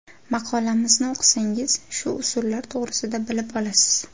Maqolamizni o‘qisangiz, shu usullar to‘g‘risida bilib olasiz.